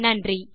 நன்றி